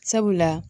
Sabula